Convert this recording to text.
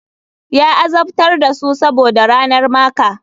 Ya azabtar da su saboda ranar maker.